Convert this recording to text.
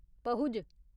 Pahuj